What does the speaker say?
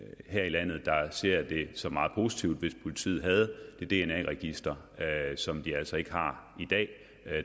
her i landet der ser det som meget positivt hvis politiet havde det dna register som de altså ikke har i dag